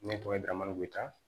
Ne tɔgɔ ye damadɔ ta